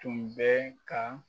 Tun bɛ ka